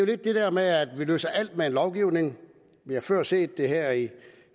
det der med at vi løser alt med lovgivning vi har før set det her i